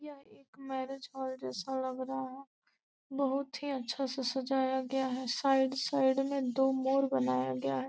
यहाँ एक marriage hall जैसा लग रहा है बहुत ही अच्छा से सजाया गया है साइड साइड में दो मोर बनाया गया है।